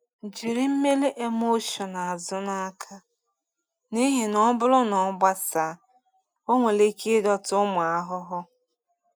Jiri mmiri emulsion azụ n’aka, n’ihi na ọ bụrụ na ọ gbasaa, ọ nwere ike ịdọta ụmụ ahụhụ.